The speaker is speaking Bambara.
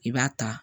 I b'a ta